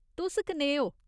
तुस कनेह् ओ ?